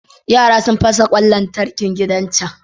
Yara sun fasa ƙwan lantarkin gidan can.